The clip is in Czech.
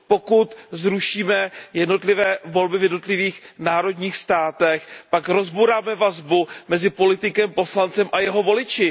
Pokud zrušíme jednotlivé volby v jednotlivých národních státech, pak rozbouráme vazbu mezi politikem, poslancem a jeho voliči.